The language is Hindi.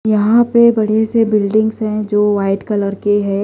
यहां पे बढ़े से बिल्डिंग्स हैं जो वाइट कलर के हैं।